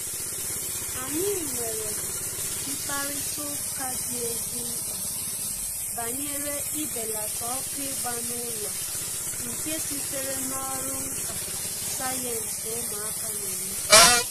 Anyị nwere mkparịta ụka dị ezi mkpa banyere ibelata ọkụ ịgba n'ụlọ nke sitere n'ọrụ nka sayensị ụmụaka na-eme